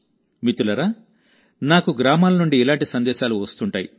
మిత్రులారా నాకు గ్రామాల నుండి ఇలాంటి సందేశాలు చాలా వస్తుంటాయి